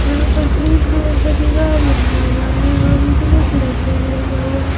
यहाँ पर green colour का दीवार लगा हुआ है और उजले कलर से लगा हुआ है।